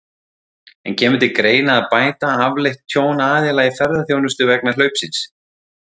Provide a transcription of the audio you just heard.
En kemur til greina að bæta afleitt tjón aðila í ferðaþjónustu vegna hlaupsins?